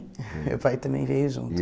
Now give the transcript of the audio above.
Meu pai também veio junto. E